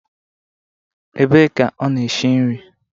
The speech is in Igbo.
Ebe ka ọ na-eshi nri?